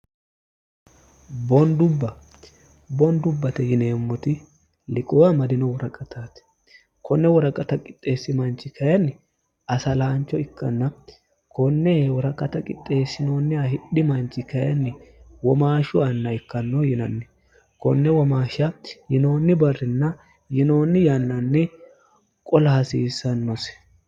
boondubba boondubbate yineemmoti liqowa madino woraqataati konne woraqata qixxeessi manchi kayinni asalaancho ikkanna konne woraqata qixxeessinoonniha hidhi manchi kayinni womaashshu anna ikkanno yinanni konne womaashsha yinoonni barrinna yinoonni yannanni qola hasiissannosi